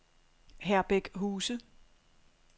Herbæk Huse